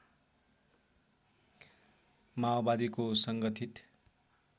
माओवादीको सङ्गठित